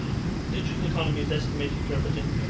The digital economy is estimated to represent